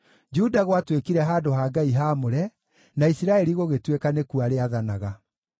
Juda gwatuĩkire handũ ha Ngai haamũre, na Isiraeli gũgĩtuĩka nĩkuo arĩathanaga.